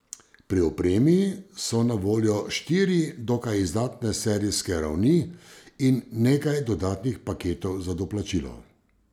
Pri opremi so na voljo štiri dokaj izdatne serijske ravni in nekaj dodatnih paketov za doplačilo.